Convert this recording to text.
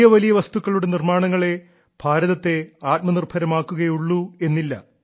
വലിയ വലിയ വസ്തുക്കളുടെ നിർമ്മാണങ്ങളേ ഭാരതത്തെ ആത്മനിർഭരമാക്കുകയുള്ളൂ എന്നില്ല